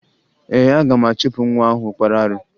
Ee, aga m achụpụ nwa ahụ kpara arụ